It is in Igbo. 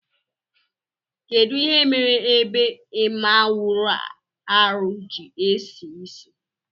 Kedu ihe mere ebe imaawụarụ ji esisi?